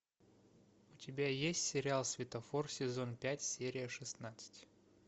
у тебя есть сериал светофор сезон пять серия шестнадцать